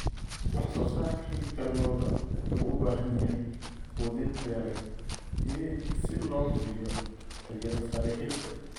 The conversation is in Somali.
Wax soo saarka hilibka lo'da wuxuu u baahan yahay quudin tayo leh si loo hubiyo tayada sare ee hilibka.